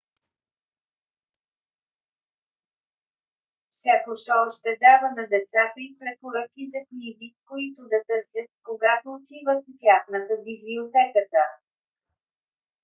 всяко шоу ще дава на децата и препоръки за книги които да търсят когато отиват в тяхната библиотеката